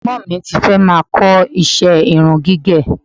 Ẹ̀gbọ́n mi ti fẹ́ máa kọ iṣẹ́ irun gígẹ̀